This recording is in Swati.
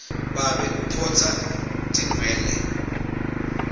babe uphotsa atinwele